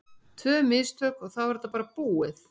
Tvö mistök og þá er þetta bara búið.